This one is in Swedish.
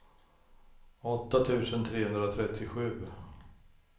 åtta tusen trehundratrettiosju